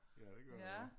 Ja det gør du ja